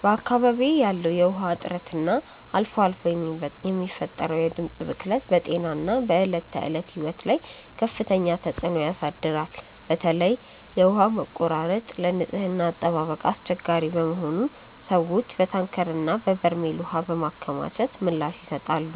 በአካባቢዬ ያለው የውሃ እጥረት እና አልፎ አልፎ የሚፈጠረው የድምፅ ብክለት በጤናና በዕለት ተዕለት ሕይወት ላይ ከፍተኛ ተጽዕኖ ያሳድራል። በተለይ የውሃ መቆራረጥ ለንጽህና አጠባበቅ አስቸጋሪ በመሆኑ ሰዎች በታንከርና በበርሜል ውሃ በማከማቸት ምላሽ ይሰጣሉ።